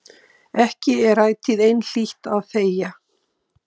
Ekki er ætíð einhlítt að þegja.